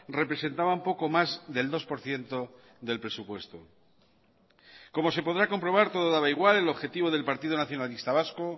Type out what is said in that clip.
representaban poco más del dos por ciento del presupuesto como se podrá comprobar todo daba igual el objetivo del partido nacionalista vasco